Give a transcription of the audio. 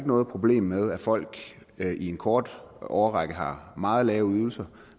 noget problem med at folk i en kort årrække har meget lave ydelser